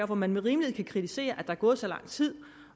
hvor man med rimelighed kan kritisere at der er gået så lang tid